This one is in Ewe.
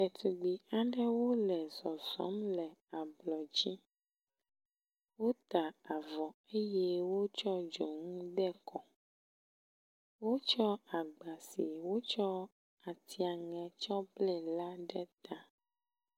Ɖetugbi aɖewo le zɔzɔm le ablɔ dzi. Wota avɔ eye wotsɔ dzonu de kɔ. Wotsɔ agba si wotsɔ atsiaŋe tsɔ ble la ɖe ta.